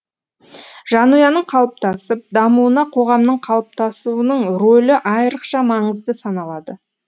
жанұяның қалыптасып дамуына қоғамның қалыптасуының рөлі айрықша маңызды саналады